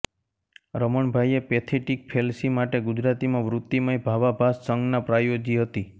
રમણભાઈએ pathetic fallacy માટે ગુજરાતીમાં વૃત્તિમય ભાવાભાસ સંજ્ઞા પ્રયોજી હતી